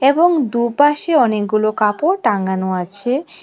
এবং দুপাশে অনেকগুলো কাপড় টাঙানো আছে।